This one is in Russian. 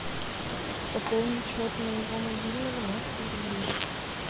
пополнить счет моего мобильного на сто рублей